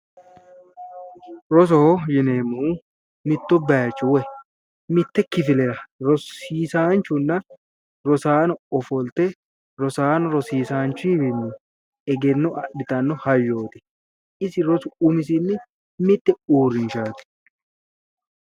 Rosoho yineemmohu mittu bayicho woyi mitte kifilera rosiisaanchunna rosaano ofolte rosaano rosiisaanchuwiinni egenno adhitanno hayyo isi rosu umisinni mitte uurrinshaati.